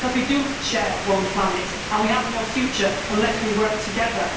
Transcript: We share one planet and we have no future unless we work together.